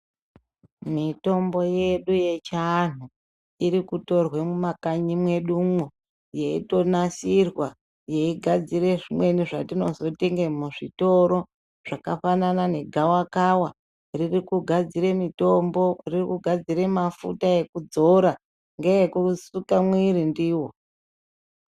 Mitombo yedu yechiantu irikutorwe mumakanyi mwedumwo yeitonasirwa yeigadzira zvimweni zvetinotenge muzvitoro. Zvakafanana negavakava riri kugadzire mitombo ririkugadzire mafuta ekudzo ngeekusuka mwiri ndivo.